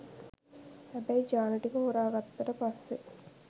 හැබැයි ජාන ටික හොරා ගත්තට පස්සේ